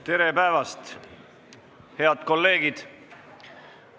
Tere päevast, head kolleegid!